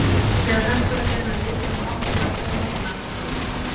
Þegar hægt var að greina litinn á bátnum var Thomas Lang horfinn.